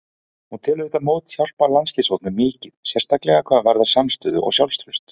Hún telur þetta mót hjálpa landsliðshópnum mikið, sérstaklega hvað varðar samstöðu og sjálfstraust.